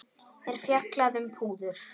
er fjallað um púður.